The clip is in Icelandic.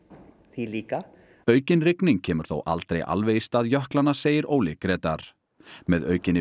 því líka aukin rigning kemur þó aldrei alveg í stað jöklanna segir Óli Grétar með aukinni